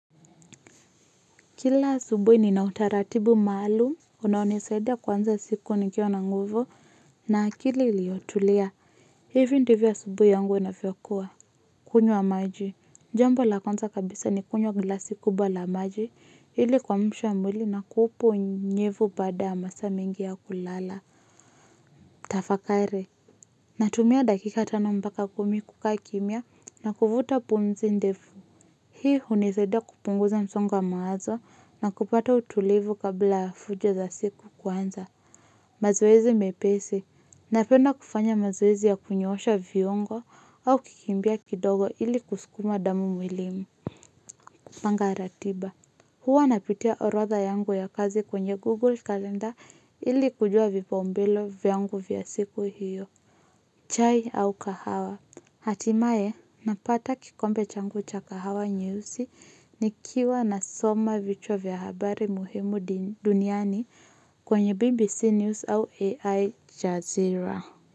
Kila asubuhi nina utaratibu maalum. Unaonisaidia kuanza siku nikiwa na nguvu. Na akili iliyotulia. Hivi ndivyo asubuhi yangu inavyokuwa. Kunywa maji. Jambo la kwanza kabisa ni kunywa glasi kubwa la maji. Ili kuamsha mwili na kuupa unyevu baada ya masaa mingi ya kulala. Tafakari. Natumia dakika tano mpaka kumi kukaa kimya na kuvuta pumzi ndefu. Hii hunisaidia kupunguza msongo wa mawazo na kupata utulivu kabla ya fujo za siku kuanza. Mazoezi mepesi. Napenda kufanya mazoezi ya kunyoosha viungo au kikimbia kidogo ili kusukuma damu mwilini. Panga ratiba. Huwa napitia orodha yangu ya kazi kwenye Google Calendar ili kujua vipaumbele vyangu vya siku hiyo. Chai au kahawa. Hatimae napata kikombe changu cha kahawa nyeusi ni kiwa nasoma vichwa vya habari muhimu duniani kwenye BBC News au AI Jazira.